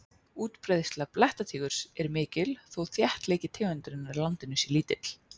Útbreiðsla blettatígurs er mikil þó þéttleiki tegundarinnar í landinu sé lítill.